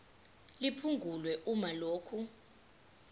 liphungulwe uma lokhu